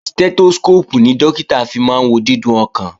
Stẹ́tóskóópù ni Dókítà fi máa wo dídún ọkàn